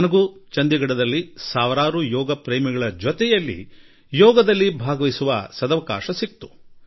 ನನಗೂ ಕೂಡಾ ಚಂಡೀಗಢದಲ್ಲಿ ಸಹಸ್ರಾರು ಯೋಗ ಪ್ರೇಮಿಗಳೊಡನೆ ಹಾಗೂ ಅವರ ನಡುವೆ ಯೋಗ ಮಾಡುವ ಅವಕಾಶ ದೊರಕಿತು